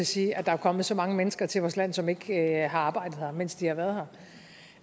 sige at der er kommet så mange mennesker til vores land som ikke har arbejdet her mens de har været